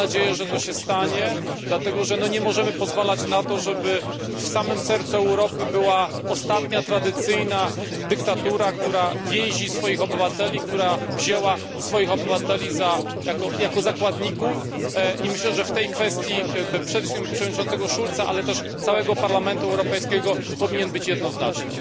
Mam nadzieję, że to się stanie, dlatego że nie możemy pozwalać na to, żeby w samym sercu Europy była ostatnia tradycyjna dyktatura, która więzi swoich obywateli, która wzięła swoich obywateli jako zakładników. Myślę, że w tej kwestii przede wszystkim głos przewodniczącego Schulza, ale też głos całego Parlamentu Europejskiego powinien być jednoznaczny.